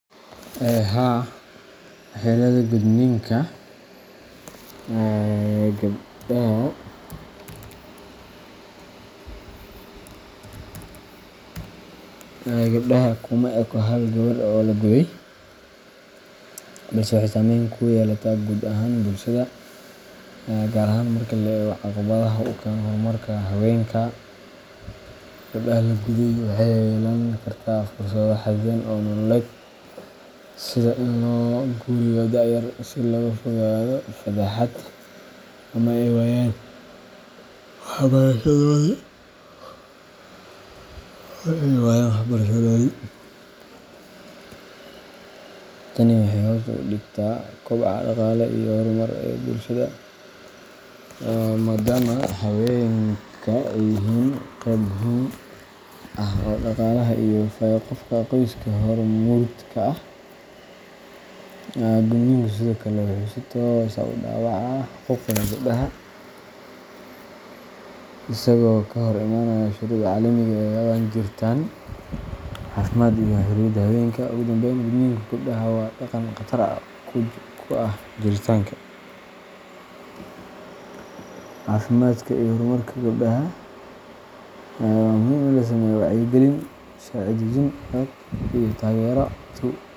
Haa, Waxyeelada gudniinka gabdhaha kuma eko hal gabadh oo la guday, balse waxay saamayn ku yeelataa guud ahaan bulshada, gaar ahaan marka la eego caqabadaha uu keeno horumarka haweenka. Gabadha la guday waxay yeelan kartaa fursado xadidan oo nololeed, sida in loo guuriyo da’ yar si looga fogaado fadeexad ama ay waayaan waxbarashadoodii. Tani waxay hoos u dhigtaa koboca dhaqaale iyo horumar ee bulshada, maadaama haweenka ay yihiin qeyb muhiim ah oo dhaqaalaha iyo fayo-qabka qoyska hormuud ka ah. Gudniinku sidoo kale wuxuu si toos ah u dhaawacaa xuquuqda gabdhaha, isagoo ka hor imaanaya shuruucda caalamiga ah ee ka hadlaya jiritaan, caafimaad, iyo xorriyadda haweenka. Ugu dambayn, gudniinka gabdhaha waa dhaqan khatar ku ah jiritaanka, caafimaadka, iyo horumarka gabdhaha iyo haweenka guud ahaan. Inkasta oo uu wali ka jiro meelo badan oo dunida ka mid ah, waxaa muhiim ah in la sameeyo wacyigelin, sharci dejin adag, iyo taageero bulsho .